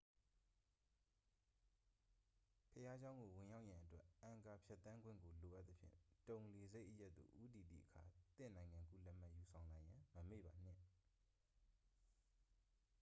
ဘုရားကျောင်းကို ဝင်ရောက်ရန်အတွက် အန်ကာ ဖြတ်သန်းခွင့်ကို လိုအပ်သဖြင့် တုန်လေဆပ်အရပ်သို့ ဦးတည်သည့်အခါ သင့်နိုင်ငံကူးလက်မှတ် ယူဆောင်လာရန် မမေ့ပါနှင့်